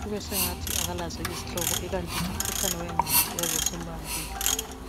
kubesengathi kalazihlopbo kukanti ngumkhuhlane wengqondo osumbambile